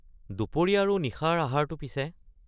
দুপৰীয়া আৰু নিশাৰ আহাৰটো পিছে?